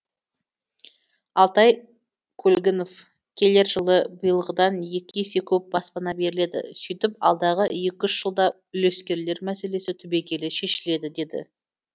алтай көлгінов келер жылы биылғыдан екі есе көп баспана беріледі сөйтіп алдағы екі үш жылда үлескерлер мәселесі түбегейлі шешіледі деді